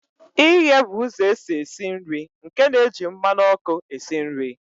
Ighe bụ ụzọ esi esi nri nke na-eji mmanụ ọkụ esi nri.